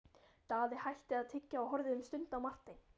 Daði hætti að tyggja og horfði um stund á Martein.